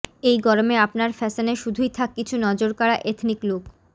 এই গরমে আপনার ফ্যাশনে শুধুই থাক কিছু নজরকাড়া এথনিক লুক